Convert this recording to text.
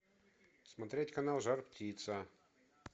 смотреть канал жар птица